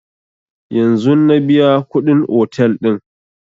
Yanzun na biya kuɗin otel ɗin